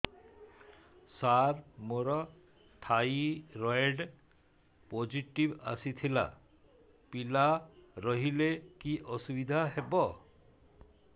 ସାର ମୋର thyroid positive ଆସିଥିଲା ପିଲା ରହିଲେ କି ଅସୁବିଧା ହେବ